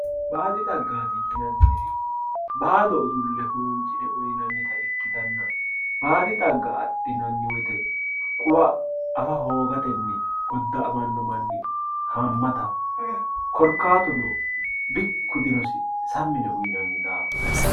Baadi xagaati yinaniri baado udulle huuncine uyinanita ikitana baadi xagga adhinani woyite quwa afa hoogateni goda`amano manni haamataho korkatuno bikku dinosi sammi yine uyinani daafo